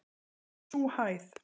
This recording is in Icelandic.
Það var sú hæð.